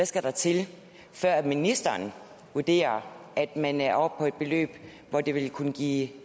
skal til før ministeren vurderer at man er oppe på et beløb hvor det vil kunne give